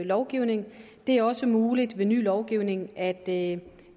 lovgivning det er også muligt ved ny lovgivning at